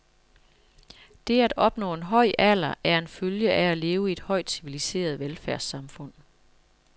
Det at opnå en høj alder er en følge af at leve i et højt civiliseret velfærdssamfund.